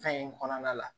Fɛn in kɔnɔna la